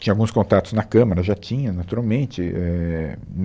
Tinha alguns contatos na Câmara, eu já tinha, naturalmente, e, éh